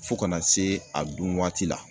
Fo kana se a dunwaati la